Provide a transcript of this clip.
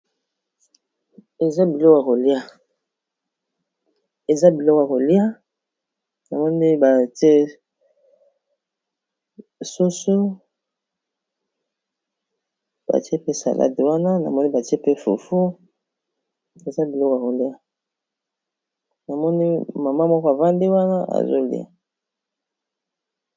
Eza bilok a kolia namoni batiesoso batie pe salade wana namoni batie pe fufu eza bilok a kolia na moni mama moko avande wana azolia